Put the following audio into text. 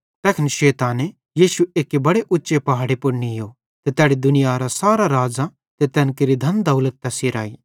तैखन शैताने यीशु एक्की बड़े उच्चे पहाड़े पुड़ नीयो ते तैड़ी दुनियारां सारां राज़्ज़ां ते तैन केरि धन दौलत तैस हिराई